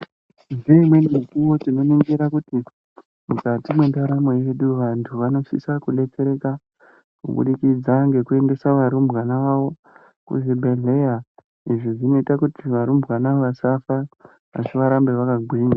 Ngeimweni mikuwo tinoningira kuti, mukati mwendaramo yedu vantu vanosisa kudetsereka kubudikidza ngekuendesa varumbwana vavo kuzvibhedhleya. Izvi zvinoita kuti varumbwana vasafa, asi varambe vakagwinya.